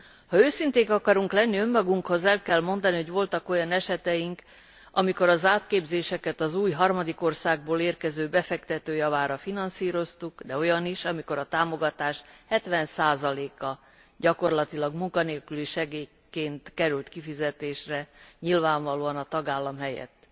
Ha őszinték akarunk lenni önmagunkhoz, el kell mondani, hogy voltak olyan esetünk, amikor az átképzéseket az új, harmadik országból érkező befektető javára finanszíroztuk, de olyan is, amikor a támogatás 70 a gyakorlatilag munkanélküli segélyként került kifizetésre nyilvánvalóan a tagállam helyett,